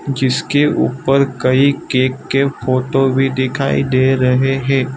जिसके ऊपर कई केक के फोटो भी दिखाई दे रहे हे।